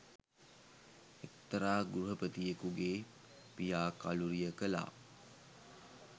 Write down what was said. එක්තරා ගෘහපතියකුගේ පියා කලුරිය කළා.